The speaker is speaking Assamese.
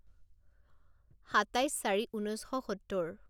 সাতাইছ চাৰি ঊনৈছ শ সত্তৰ